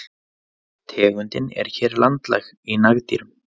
Tegundin er hér landlæg í nagdýrum.